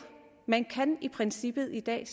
man kan i princippet i dag